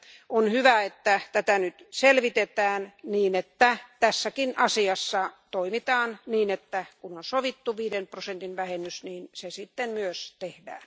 On hyvä, että tätä nyt selvitetään, niin että tässäkin asiassa toimitaan niin, että kun on sovittu viiden prosentin vähennys, se sitten myös tehdään.